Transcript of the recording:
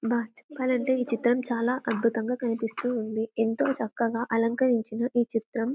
బాగా చెప్పాలంటే ఈ చిత్రం చాలా అద్భుతంగా కనిపిస్తుంది ఎంతో చక్కగా అలంకరించిన ఈ చిత్రం